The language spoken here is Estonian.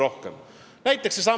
Mõelge ise, kui see oleks 14%-le tõusnud.